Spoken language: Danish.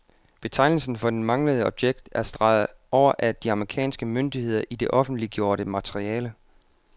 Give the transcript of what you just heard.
Betegnelsen for det manglende objekt er streget over af de amerikanske myndigheder i det offentliggjorte materiale.